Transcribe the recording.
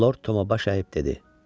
Lord Tomu baş əyib dedi.